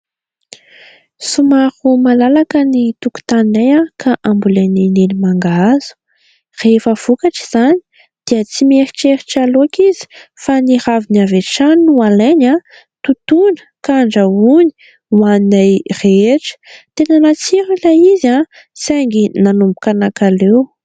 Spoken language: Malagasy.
Somary malalaka ny tokotaninay ka ambolen'i Neny mangahazo, rehefa vokatra izany dia tsy mieritreritra laoka izy fa ny raviny avy hatrany no alainy, totona ka andrahony ho haninay rehetra. Tena natsiro ilay izy saingy nanomboka nankaleo.